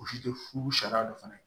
U si tɛ furu sariya don fana